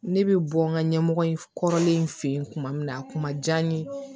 Ne bɛ bɔ n ka ɲɛmɔgɔ in kɔrɔlen fɛ yen tuma min na a kuma diya n ye